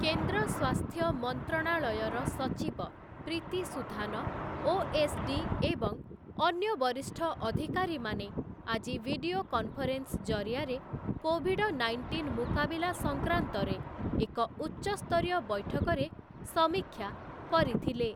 କେନ୍ଦ୍ର ସ୍ଵାସ୍ଥ୍ୟ ମନ୍ତ୍ରଣାଳୟର ସଚିବ ପ୍ରୀତି ସୁଧାନ, ଓଏସ୍‌ଡି ଏବଂ ଅନ୍ୟ ବରିଷ୍ଠ ଅଧିକାରୀମାନେ ଆଜି ଭିଡିଓ କନଫରେନ୍ସ ଜରିଆରେ କୋଭିଡ ନାଇଣ୍ଟିନ୍ ମୁକାବିଲା ସଂକ୍ରାନ୍ତରେ ଏକ ଉଚ୍ଚସ୍ତରୀୟ ବୈଠକରେ ସମୀକ୍ଷା କରିଥିଲେ ।